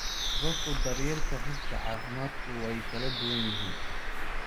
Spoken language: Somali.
Hababka daryeelka rugta caafimaadku way kala duwan yihiin.